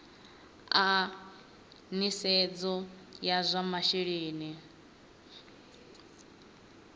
a nisedzo ya zwa masheleni